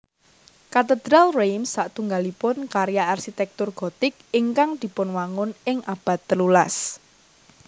Katedral Reims satunggalipun karya arsitéktur Gothic ingkang dipunwangun ing abad telulas